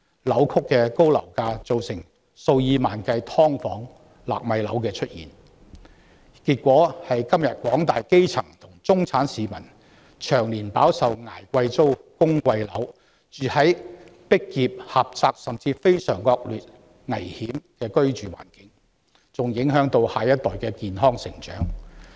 扭曲的高樓價造成數以萬計的"劏房"和"納米樓"出現，結果是今天廣大基層和中產市民長年捱貴租、供貴樓、居住在擠迫狹窄甚至非常惡劣危險的環境中，還影響到下一代的健康成長。